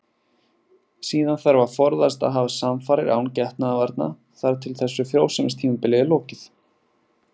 Síðan þarf að forðast að hafa samfarir án getnaðarvarna þar til þessu frjósemistímabili er lokið.